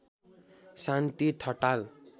Shanti Thatal